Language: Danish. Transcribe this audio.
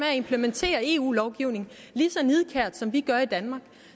at implementere en eu lovgivning lige så nidkært som vi gør i danmark